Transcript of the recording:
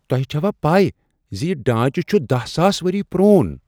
تۄہہ چھوا پے زِ یہ ڈانٛچہٕ چھ دہَ ساس ؤری پرٛون؟